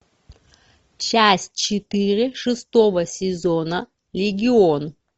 часть четыре шестого сезона легион